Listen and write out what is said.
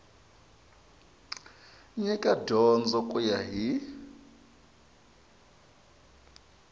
nyika dyondzo ku ya hi